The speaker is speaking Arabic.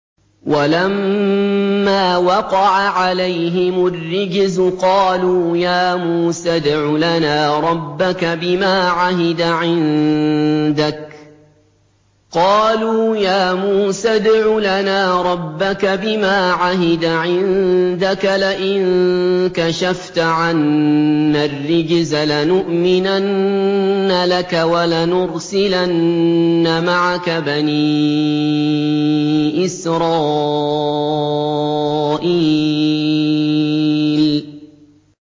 وَلَمَّا وَقَعَ عَلَيْهِمُ الرِّجْزُ قَالُوا يَا مُوسَى ادْعُ لَنَا رَبَّكَ بِمَا عَهِدَ عِندَكَ ۖ لَئِن كَشَفْتَ عَنَّا الرِّجْزَ لَنُؤْمِنَنَّ لَكَ وَلَنُرْسِلَنَّ مَعَكَ بَنِي إِسْرَائِيلَ